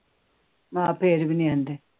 ਹਾਂ ਫਿਰ ਵੀ ਨੀ ਆਂਦੇ